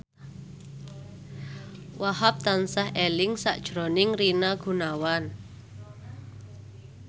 Wahhab tansah eling sakjroning Rina Gunawan